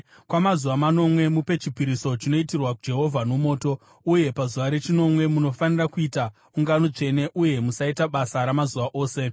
Kwamazuva manomwe mupe chipiriso chinoitirwa Jehovha nomoto. Uye pazuva rechinomwe munofanira kuita ungano tsvene uye musaita basa ramazuva ose.’ ”